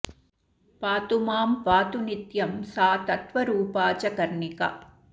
पातु मां पातु नित्यं सा तत्त्वरूपा च कर्णिका